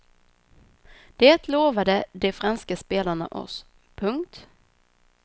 Det lovade de franska spelarna oss. punkt